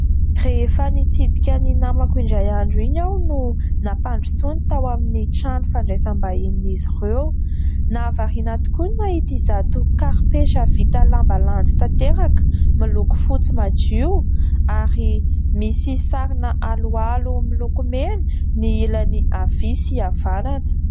Rehefa nitsidika ny namako indray andro iny aho, no nampandrosoany tao amin'ny trano fandraisam-bahinin' izy ireo. Nahavarina ahy tokoa ny nahita izato karipetra vita lamba landy tanteraka, miloko fotsy madio, ary misy sarina aloalo miloko mena ny ilany havia sy havanana.